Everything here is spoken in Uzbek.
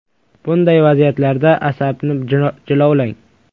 Bunday vaziyatlarda, asabni jilovlang!